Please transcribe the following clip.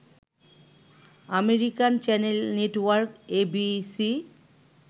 American channel network ABC